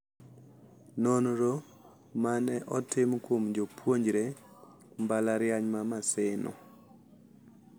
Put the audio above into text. Nonro ma ne otim kuom jopuonjre mbalariany ma Maseno,